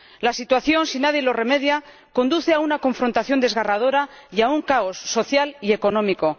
La situación, si nadie lo remedia, conduce a una confrontación desgarradora y a un caos social y económico.